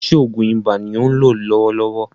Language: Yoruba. Ṣé oògùn ibà ni ò ń lò lọ́wọ́lọ́wọ́?